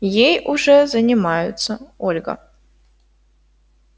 ей уже занимаются ольга